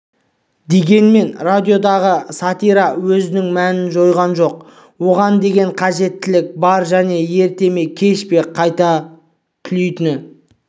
дегенмен радиодағы сатира өзінің мәнін жойған жоқ оған деген қажеттілік бар және ерте ме кеш пе қайта түлейтіні